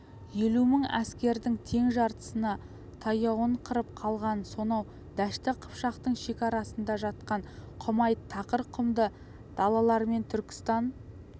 елу мың әскердің тең жартысына таяуын қырып қалғанын сонау дәшті қыпшақтың шекарасында жатқан құмайт тақыр құмды далалармен түркістан